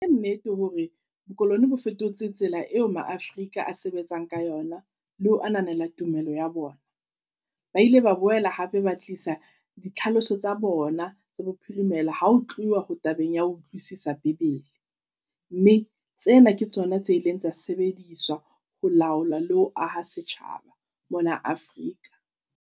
Ke nnete hore bokolone bo fetotse tsela eo maAfrika a sebetsang ka yona le ho ananela tumelo ya bona. Ba ile ba boela hape ba tlisa ditlhaloso tsa bona le bophirimela ha ho tluwa tabeng ya o utlwisisa bebele. Mme, tsena ke tsona tse ileng tsa sebediswa ho laola le ho aha setjhaba mona Afrika.